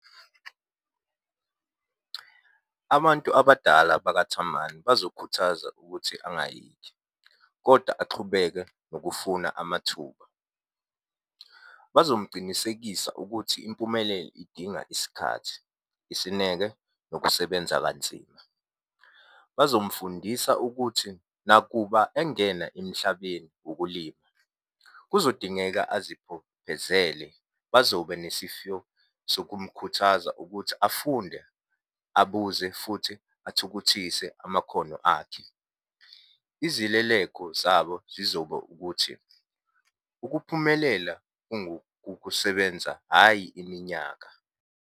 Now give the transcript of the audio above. Abantu abadala bakaThamani bazokhuthaza ukuthi angayeki, koda axhubeke nokufuna amathuba. Bazomucinisekisa ukuthi impumelelo idinga isikhathi, isineke, nokusebenza kanzima. Bazomufundisa ukuthi nakuba engena emhlabeni wokulima kuzodingeka azibophezele, bazoba nesifyo sokumkhuthaza ukuthi afunde, abuze, futhi athukuthise amakhono akhe. Izileleko zabo zizoba ukuthi, ukuphumelela kungokukusebenza, hhayi iminyaka.